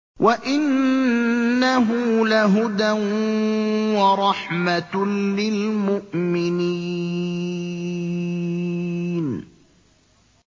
وَإِنَّهُ لَهُدًى وَرَحْمَةٌ لِّلْمُؤْمِنِينَ